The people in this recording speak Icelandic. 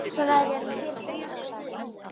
Þú lagðir í hann í fyrradag, var það ekki?